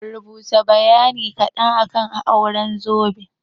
Rubuta bayani kaɗan akan auren zobe?